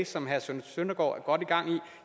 som herre søren søndergaard er godt i gang med